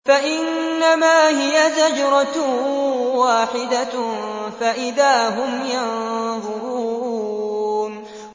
فَإِنَّمَا هِيَ زَجْرَةٌ وَاحِدَةٌ فَإِذَا هُمْ يَنظُرُونَ